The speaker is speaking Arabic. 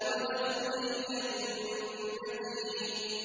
وَادْخُلِي جَنَّتِي